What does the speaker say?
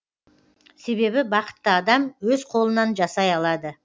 себебі бақытты адам өз қолынан жасай алады